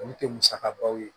Olu tɛ musakabaw ye